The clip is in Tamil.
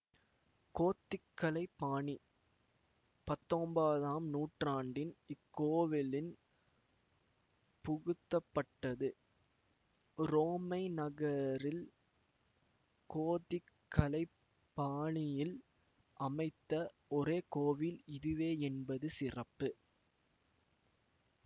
கோத்திக் கலை பாணி பத்தொம்போதாம் நூற்றாண்டின் இக்கோவிலின் புகுத்தப்பட்டது உரோமை நகரில் கோத்திக் கலைப்பாணியில் அமைத்த ஒரே கோவில் இதுவே என்பதும் சிறப்பு